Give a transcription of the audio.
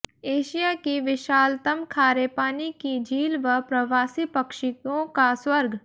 Asia की विशालतम खारे पानी की झील व प्रवासी पक्षियों का स्वर्ग